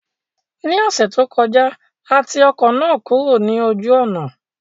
Ní ọ̀sẹ̀ tó kọjá, a ti ọkọ̀ náà kúrò ní ojú ọ̀nà